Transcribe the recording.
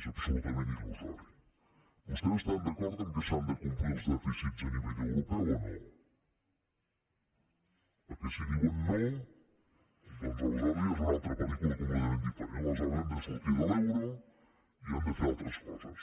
és absolutament ilvostès estan d’acord que s’han de complir els dèficits a nivell europeu o no perquè si diuen no doncs aleshores ja és una altra pel·lícula completament diferent aleshores hem de sortir de l’euro i hem de fer altres coses